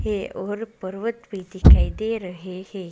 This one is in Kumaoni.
है और पर्वत भी दिखाई दे रहे हैं।